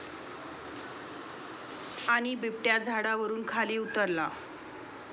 ...आणि बिबट्या झाडावरुन खाली उतरला